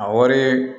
A wari